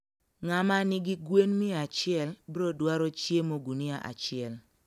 ng`ama nigi gwen mia achiel brodwaro chiemo gunia achiel